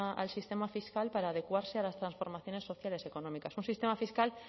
al sistema fiscal para adecuarse a las transformaciones sociales y económicas un sistema fiscal